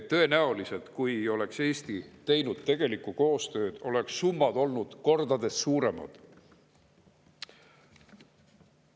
Tõenäoliselt, kui oleks Eesti teinud tegelikku koostööd, oleks summad olnud kordades suuremad.